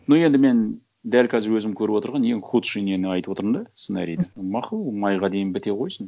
ну енді мен дәл қазір өзім көріп отырған ең худший нені айтып отырмын да сценарийді мақұл майға дейін біте қойсын